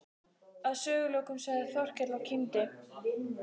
Að sögulokum sagði Þórkell og kímdi